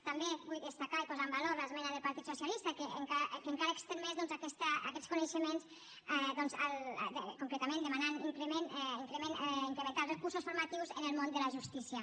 també vull destacar i posar en valor l’esmena del partit socialista que encara estén més doncs aquests coneixements concretament demanant incrementar els recursos formatius en el món de la justícia